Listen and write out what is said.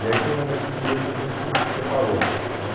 E aí foi um momento que meio que a gente se separou, né?